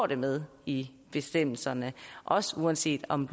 det med i bestemmelserne også uanset om